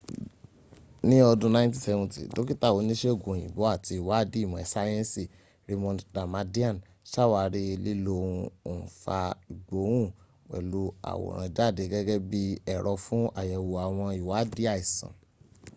ní ọdún 1970 dókítà oníṣègùn òyìnbó àti ìwádìí ìmò sáyẹ́nsì raymond damadian ṣàwárí lílo ohun òǹfà ìgbohún-pẹ̀lú -àwòrán jáde gẹ́gẹ́ bí ẹ̀rọ fún àyẹ̀wò àwọn ìwádìí àìsàn